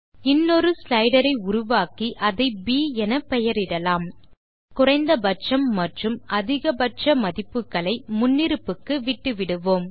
இன்னொரு ஸ்லைடர் ஐ உருவாக்கி அதை ப் எனப்பெயரிடலாம் குறைந்த பட்சம் மற்றும் அதிக பட்ச மதிப்புகளை முன்னிருப்புக்கு விட்டுவிடுவோம்